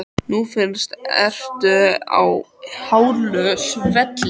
Nú fyrst ertu á hálu svelli.